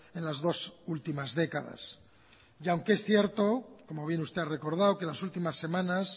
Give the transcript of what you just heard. en las dos últimas décadas y aunque se cierto como bien usted ha recordado que las últimas semanas